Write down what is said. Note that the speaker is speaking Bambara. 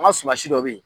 An ka suma si dɔ bɛ yen